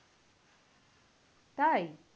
তাই?